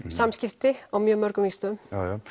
samskipti á mjög mörgum vígstöðum